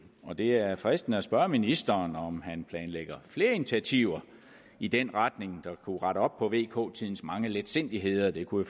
og det er fristende at spørge ministeren om han planlægger flere initiativer i den retning der kunne rette op på vk tidens mange letsindigheder det kunne